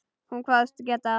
Hún kvaðst geta það.